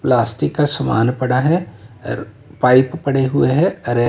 plastic का सामान पड़ा है और पाइप पड़े हुए हैं हरे--